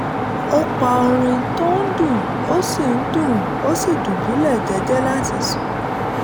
ó pa orin tó ń dún ó sì dún ó sì dùbúlẹ̀ jẹ́jẹ́ láti sùn